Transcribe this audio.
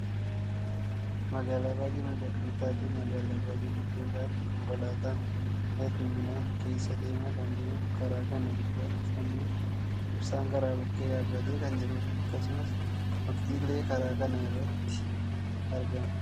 Magaalaa baayyee miidhagduu taateefi magaalaa baayyee guddoo taate konkolaataan hedduminaan keessa deemaa kan jiruu fi karaa kana gubbaattii ammoo ibsaan karaa bukkee dhaabbatee kan jirudha. akkasumas mukti illee karaa kana irratti argama.